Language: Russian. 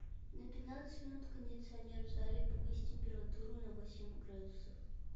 на пятнадцать минут кондиционер в зале повысь температуру на восемь градусов